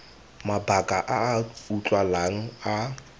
mabaka a a utlwalang a